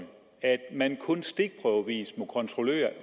at man kun stikprøvevis må kontrollere